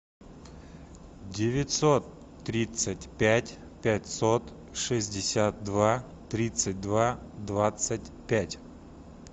девятьсот тридцать пять пятьсот шестьдесят два тридцать два двадцать пять